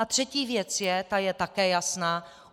A třetí věc je, ta je také jasná.